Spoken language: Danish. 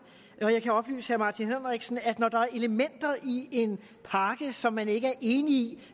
og jeg kan oplyse herre martin henriksen om at når der er elementer i en pakke som man ikke er i